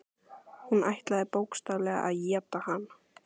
Hún ætlaði bókstaflega að éta hann.